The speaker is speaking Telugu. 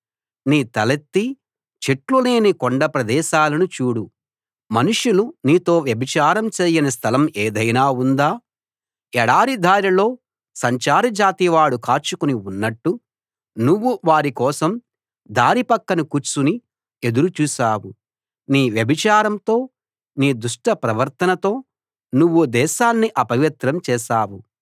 నీ తలెత్తి చెట్లు లేని కొండప్రదేశాలను చూడు మనుషులు నీతో వ్యభిచారం చేయని స్థలం ఏదైనా ఉందా ఎడారి దారిలో సంచార జాతి వాడు కాచుకుని ఉన్నట్టు నువ్వు వారి కోసం దారి పక్కన కూర్చుని ఎదురు చూశావు నీ వ్యభిచారంతో నీ దుష్ట ప్రవర్తనతో నువ్వు దేశాన్ని అపవిత్రం చేశావు